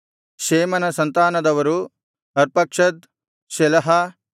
ಶೇಮನ ಸಂತಾನದವರು Arphaxad Shelah